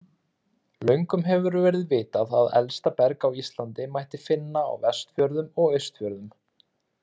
Löngum hefur verið vitað að elsta berg á Íslandi mætti finna á Vestfjörðum og Austfjörðum.